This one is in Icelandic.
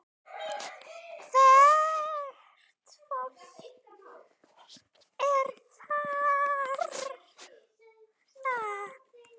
Hvert á fólk að fara?